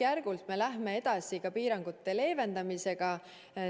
Nüüd me läheme järk-järgult edasi ka piirangute leevendamisega.